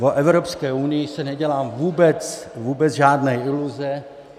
O Evropské unii si nedělám vůbec žádné iluze.